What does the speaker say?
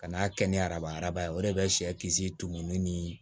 Kan'a kɛ ni araba araba ye o de bɛ sɛ kisi tumuni ni